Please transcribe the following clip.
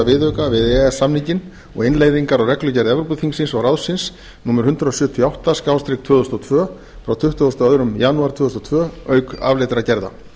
viðauka við e e s samninginn og innleiðingar á reglugerð evrópuþingsins og ráðsins númer hundrað sjötíu og átta tvö þúsund og tvö frá tuttugasta og áttundi janúar tvö þúsund og tvö auk afleiddra gerða